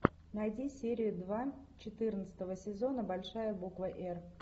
найди серию два четырнадцатого сезона большая буква р